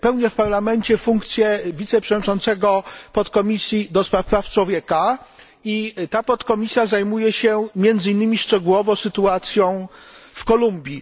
Pełnię w Parlamencie funkcję wiceprzewodniczącego Podkomisji Praw Człowieka i ta podkomisja zajmuje się między innymi szczegółowo sytuacją w Kolumbii.